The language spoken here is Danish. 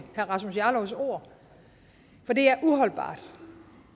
herre rasmus jarlovs ord for det er uholdbart